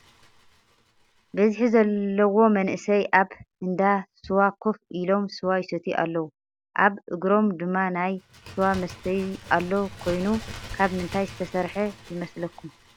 በዚሒ ዘለዎ መናእሰይ ኣበ እንዳ ስዋ ከፍ ኢሎም ስዋ ይሰትዩ ኣለው። ኣብ እግሮም ድማ ናይ ስዋ መስተይ ኣሎ ኰይኑ ካብ ምንታይ ዝተሰረሐ ይመስለኩም?